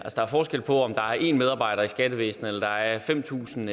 der er forskel på om der er én medarbejder i skattevæsenet om der er fem tusind